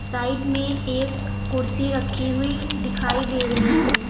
Side में एक कुर्सी रखी हुई दिखाई दे रही है।